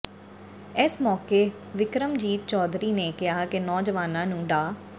ਇਸ ਮੌਕੇ ਵਿਕਰਮਜੀਤ ਚੌਧਰੀ ਨੇ ਕਿਹਾ ਕਿ ਨੌਜਵਾਨਾਂ ਨੂੰ ਡਾ